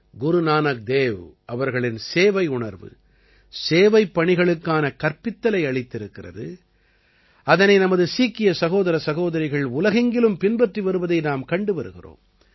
குரு நானக் தேவ் அவர்களின் சேவையுணர்வு சேவைப் பணிகளுக்கான கற்பித்தலை அளித்திருக்கிறது அதனைப் நமது சீக்கிய சகோதரசகோதரிகள் உலகெங்கிலும் பின்பற்றி வருவதை நாம் கண்டு வருகிறோம்